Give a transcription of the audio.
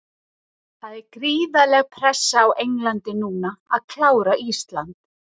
Það er gríðarleg pressa á Englandi núna að klára Ísland.